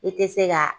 I tɛ se ka